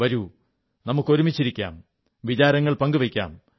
വരൂ നമുക്ക് ഒരുമിച്ചിരിക്കാം വിചാരങ്ങൾ പങ്കുവയ്ക്കാം